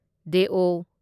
ꯗꯦꯑꯣ